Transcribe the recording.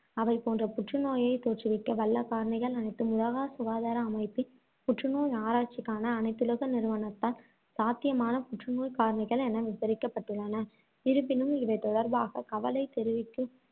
அவை போன்ற புற்று நோயைத் தோற்றுவிக்க வல்ல காரணிகள் அனைத்தும் உலக சுகாதார அமைப்பின், புற்றுநோய் ஆராய்ச்சிக்கான அனைத்துலக நிறுவனத்தால், சாத்தியமான புற்று நோய்க்காரணிகள் என விவரிக்கப்பட்டுள்ளன. இருப்பினும், இவை தொடர்பாக கவலை தெரிவிக்கும்